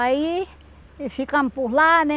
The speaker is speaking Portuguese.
Aí, e ficamos por lá, né?